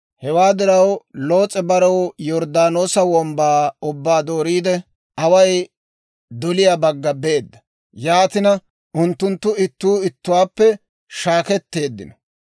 Hewaa diraw Loos'e barew Yorddaanoosa wombbaa ubbaa dooriide, away doliyaa bagga beedda; yaatina unttunttu ittuu ittiwaappe shaaketteeddino.